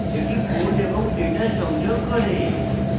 এটি code এবং data সংযোগ করে